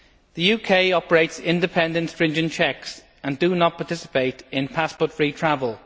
The UK operates independent stringent checks and does not participate in passport free travel.